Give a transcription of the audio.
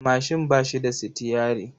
Mashin ba shi da sitiyyari.